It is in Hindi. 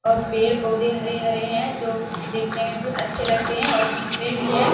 और पेड़ पौदे हरे-हरे हैं और जो देखने मैं बहुत अच्छे लगते हैं और काम्बे भी हैं।